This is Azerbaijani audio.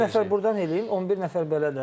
11 nəfər burdan eləyin, 11 nəfər belə də.